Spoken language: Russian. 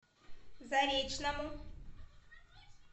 заречному